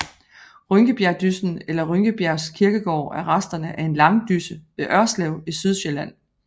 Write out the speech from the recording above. Rynkebjergdyssen eller Rynkebjergs Kirkegaard er resterne af en langdysse ved Ørslev i Sydsjælland